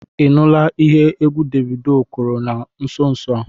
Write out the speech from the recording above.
Ị nụla ihe egwu Davido kụrụ na nso nso a?